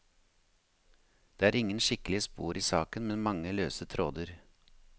Det er ingen skikkelige spor i saken, men mange løse tråder.